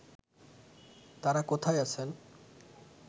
তারা কোথায় আছেন